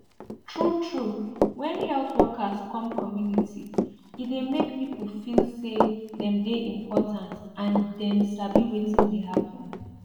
truetrue when health workers come community e dey make people feel say dem dey important and dem sabi wetin dey happen